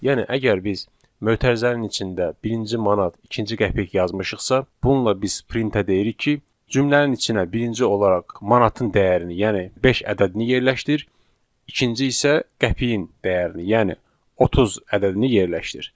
Yəni əgər biz mötərizənin içində birinci manat, ikinci qəpik yazmışıqsa, bununla biz printə deyirik ki, cümlənin içinə birinci olaraq manatın dəyərini, yəni beş ədədini yerləşdir, ikinci isə qəpiyin dəyərini, yəni 30 ədədini yerləşdir.